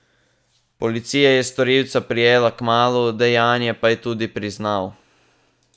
Policija je storilca prijela kmalu, dejanje pa je tudi priznal.